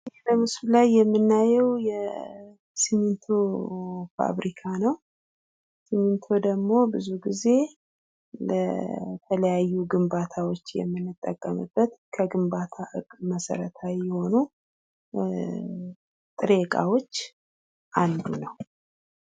በምስሉ ላይ የምናየው የሲሚንቶ ፋብሪካ ነው። ሲሚንቶ ደግሞ ብዙ ጊዜ ለተለያዩ ግንባታዎች የምንጠቀምበት ከግንባታ ህግ መሰረታዊ ከሆኑ ጥሬ ዕቃዎች አንዱ ነው።